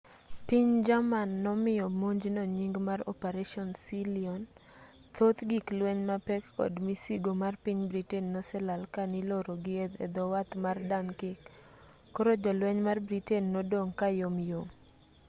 piny jerman nomiyo monjno nying mar operation sealion thoth gik lueny mapek kod misigo mar piny britain noselal kaniloro gii edhowath mar dunkirk koro jolweny mar britain nodong' kayom yom